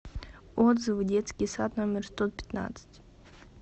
отзывы детский сад номер сто пятнадцать